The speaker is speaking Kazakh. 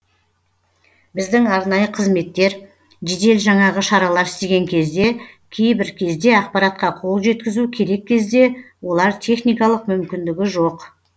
біздің арнайы қызметтер жедел жаңағы шаралар істеген кезде кейбір кезде ақпаратқа қол жеткізу керек кезде олар техникалық мүмкіндігі жоқ